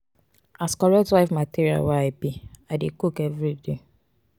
as correct wife material wey i be i dey cook everyday.